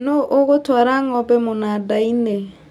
Nũ ũgũtwara ngombe mũnandainĩ